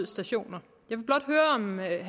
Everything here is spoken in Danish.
stationer